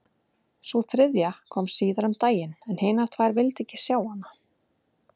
Sú þriðja kom síðar um daginn en hinar tvær vildu ekki sjá hann.